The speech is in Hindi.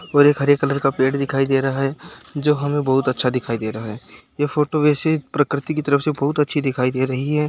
और एक हरे कलर का पेड़ दिखाई दे रहा है। जो हमें बहुत अच्छा दिखाई दे रहा है। ये फोटो वैसे प्रकृति के तरफ से बहुत अच्छी दिखाई दे रही है।